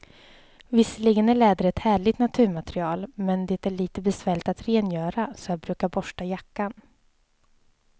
Visserligen är läder ett härligt naturmaterial, men det är lite besvärligt att rengöra, så jag brukar borsta jackan.